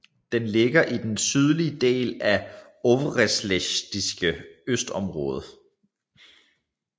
Den ligger i den sydlige del af Øvreschlesiske industriområde